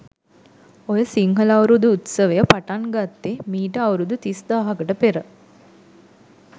ඔය සිංහල අවුරුදු උත්සවය පටන් ගත්තෙ මීට අවුරුදු තිස් දාහකට පෙර.